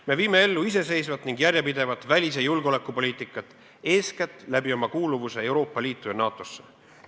Me viime ellu iseseisvat ning järjepidevat välis- ja julgeolekupoliitikat eeskätt läbi oma kuuluvuse Euroopa Liitu ja NATO-sse.